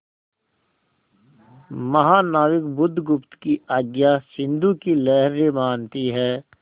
महानाविक बुधगुप्त की आज्ञा सिंधु की लहरें मानती हैं